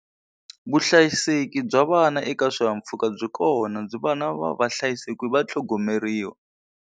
Vuhlayiseki bya vana eka swihahampfhuka byi kona ni vana va va hlayisekile va tlhogomeriwa.